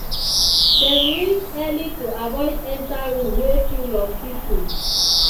dem reach early to avoid enter room wey full of people.